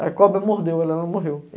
A cobra mordeu ela, ela não morreu.